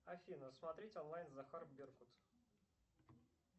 афина смотреть онлайн захар беркут